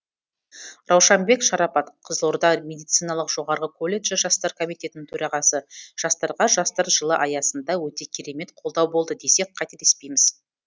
раушанбек шарапат қызылорда медициналық жоғары колледжі жастар комитетінің төрағасы жастарға жастар жылы аясында өте керемет қолдау болды десек қателеспейміз